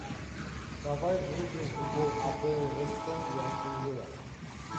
давай врубим футбол апл вест хэм и астон вилла